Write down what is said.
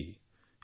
সকলো আনন্দিত